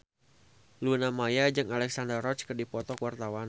Luna Maya jeung Alexandra Roach keur dipoto ku wartawan